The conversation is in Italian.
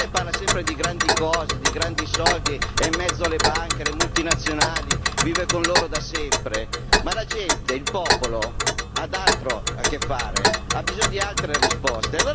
Perché lei parla sempre di grandi cose, di grandi cifre, è in mezzo alle banche, alle multinazionali, vive con loro da sempre ma la gente, il popolo ha altro da fare, ha bisogno di altre risposte!